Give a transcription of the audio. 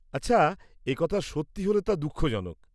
আচ্ছা, একথা সত্যি হলে তা দুঃখজনক।